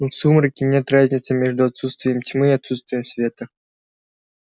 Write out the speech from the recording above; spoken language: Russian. но в сумраке нет разницы между отсутствием тьмы и отсутствием света